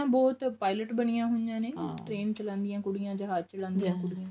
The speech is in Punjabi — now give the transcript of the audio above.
ਬਹੁਤ pilot ਬਣੀਆਂ ਹੋਈਆਂ train ਚਲਾਉਂਦੀਆਂ ਕੁੜੀਆਂ ਜਹਾਜ ਚਲਾਉਂਦੀਆਂ ਕੁੜੀਆਂ